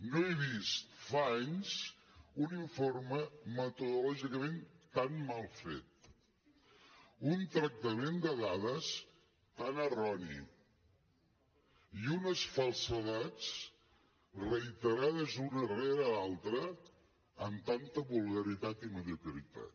no he vist fa anys un informe metodològicament tan mal fet un tractament de dades tan erroni i unes falsedats reiterades una rere l’altra amb tanta vulgaritat i mediocritat